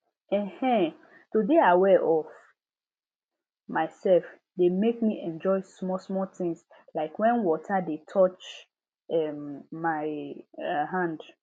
um um to dey aware of myself dey make me enjoy smallsmall things like when water dey touch um my um hand